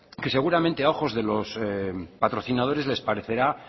que seguramente a ojos de los patrocinadores les parecerá